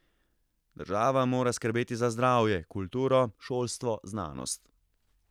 Država mora skrbeti za zdravje, kulturo, šolstvo, znanost.